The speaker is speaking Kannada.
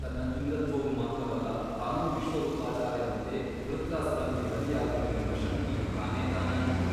ತನ್ನ ಇಂದ್ರತ್ವವು ಮಾತ್ರವಲ್ಲ ತಾನೂ ವಿಶ್ವರೂಪಾಚಾರ್ಯನಂತೆ ವೃತ್ರಾಸುರನಿಗೆ ಬಲಿಯಾಗುವೆನೆಂಬ ಶಂಕೆಯು ತಾನೇತಾನಾಯಿತು.